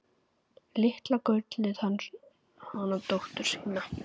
Litla gullið hana dóttur sína.